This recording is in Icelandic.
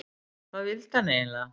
Hvað vildi hann eiginlega?